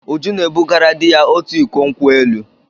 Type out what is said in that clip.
Uju na-ebugara di ya otu iko nkwo elụ.